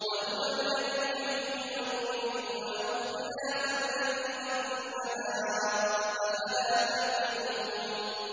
وَهُوَ الَّذِي يُحْيِي وَيُمِيتُ وَلَهُ اخْتِلَافُ اللَّيْلِ وَالنَّهَارِ ۚ أَفَلَا تَعْقِلُونَ